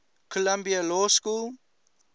columbia law school